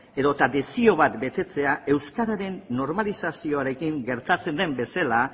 edota desio bat betetzea euskararen normalizazioarekin gertatzen den bezala